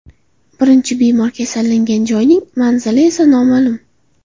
Birinchi bemor kasallangan joyning manzili esa noma’lum.